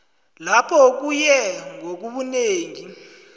lapho kuye ngobunengi